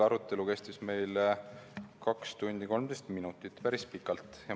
Arutelu kestis 2 tundi ja 13 minutit, päris pikalt.